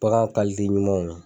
Bagan ɲumanw